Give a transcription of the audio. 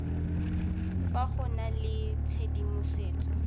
fa go na le tshedimosetso